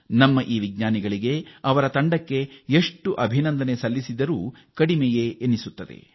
ನಮ್ಮ ವಿಜ್ಞಾನಿಗಳು ಮತ್ತು ಅವರ ತಂಡವನ್ನು ಅಭಿನಂದಿಸಲು ಪದಗಳೇ ಸಾಲುವುದಿಲ್ಲ